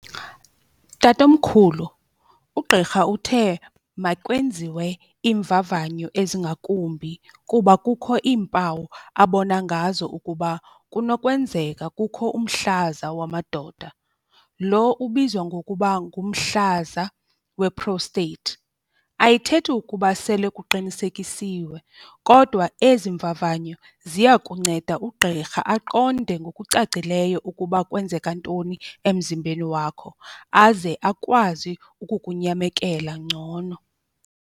Tatomkhulu, ugqirha uthe makwenziwe iimvavanyo ezingakumbi kuba kukho iimpawu abona ngazo ukuba kunokwenzeka kukho umhlaza wamadoda lo ubizwa ngokuba ngumhlaza we-prostate. Ayithethi ukuba sele kuqinisekisiwe kodwa ezi mvavanyo ziya kunceda ugqirha aqonde ngokucacileyo ukuba kwenzeka ntoni emzimbeni wakho aze akwazi ukukunyamekela ngcono.